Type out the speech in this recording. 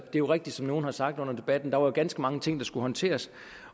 er jo rigtigt som nogle har sagt under debatten at der var ganske mange ting der skulle håndteres